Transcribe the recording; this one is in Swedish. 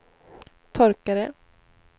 torkare